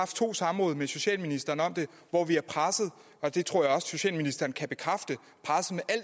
to samråd med socialministeren om det hvor vi har presset og det tror jeg også socialministeren kan bekræfte